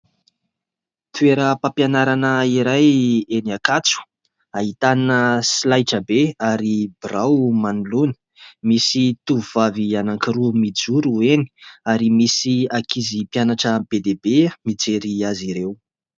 Toeram-pampianarana iray eny Ankatso, ahitana solaitrabe ary birao manoloana. Misy tovovavy anankiroa mijoro eny. Ary misy ankizy mpianatra be dia be mijery azy ireo.